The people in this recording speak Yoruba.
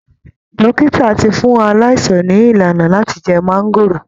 Dókítà ti fún aláìsàn ní ìlànà láti jẹ máńgóòrò